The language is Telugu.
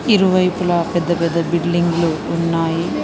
ఇరువైపుల పెద్ద పెద్ద బిల్డింగు లు ఉన్నాయి.